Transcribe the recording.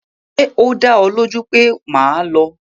Ṣé o dá ọ lójú pé o máa lọ?